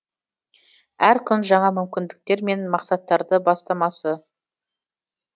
әр күн жаңа мүмкіндіктер мен мақсаттардың бастамасы